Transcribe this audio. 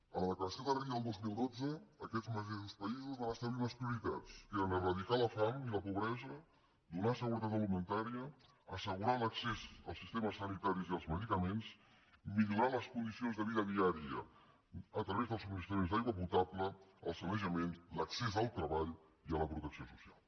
a la declaració de rio del dos mil dotze aquests mateixos països van establir unes prioritats que eren eradicar la fam i la pobresa donar seguretat alimentària assegurar l’accés als sistemes sanitaris i als medicaments millorar les condicions de vida diària a través del subministrament d’aigua potable el sanejament l’accés al treball i a la protecció social